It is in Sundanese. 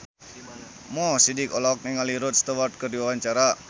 Mo Sidik olohok ningali Rod Stewart keur diwawancara